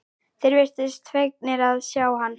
Þeir virtust fegnir að sjá hann.